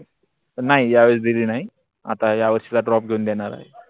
नाही या वेळेस ड्रॉप घेऊन देणार आहे.